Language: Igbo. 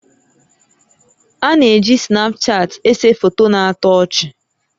A na-eji Snapchaatị èsè foto na-atọ ọchị